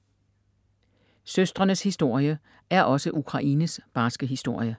Søstrenes historie er også Ukraines barske historie